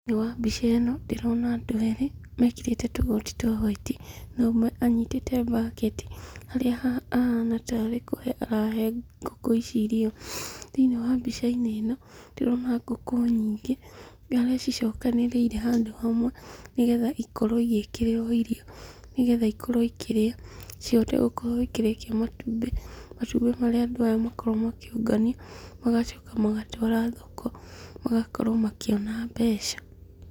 Thĩinĩ wa mbica ĩno, ndĩrona andũ erĩ mekĩrĩte tũgoti twa hwaiti, na ũmwe anyitĩte mbaketi, harĩa ahana tarĩ kũhe arahe ngũkũ ici irio. Thĩinĩ wa mbica-inĩ ĩno, ndĩrona ngũkũ nyingĩ, harĩa cicokanĩrĩire handũ hamwe, nĩgetha ikorwo igĩkĩrĩrwo irio, nĩgetha ikorwo ikĩrĩa, cihote gũkorwo ikĩrekia matumbĩ, matumbĩ marĩa andũ aya makoragwo makĩũngania, magacoka magatwara thoko, magakorwo makĩona mbeca.